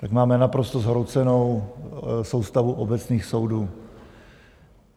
Tak máme naprosto zhroucenou soustavu obecných soudů.